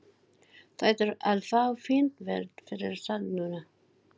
Þú ættir að fá fínt verð fyrir það núna.